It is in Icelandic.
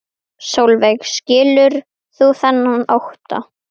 Sólveig: Skilur þú þennan ótta?